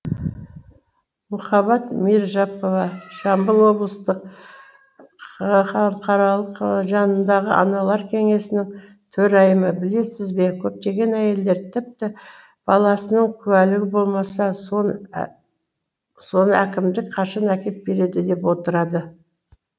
мухаббат миражапова жамбыл облыстық қха жанындағы аналар кеңесінің төрайымы білесіз бе көптеген әйелдер тіпті баласының куәлігі болмаса соны әкімдік қашан әкеп береді деп отырады